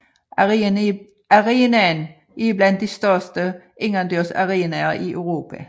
Arenaen er blandt de største indendørsarenaer i Europa